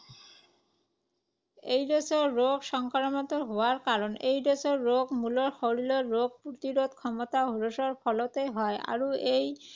AIDS ৰোগ সংক্ৰমিত হোৱাৰ কাৰণ। এইড্‌ছ ৰোগ মূলতঃ শৰীৰত ৰোগ প্ৰতিৰোধ ক্ষমতা হ্ৰাসৰ ফলতেই হয় আৰু এই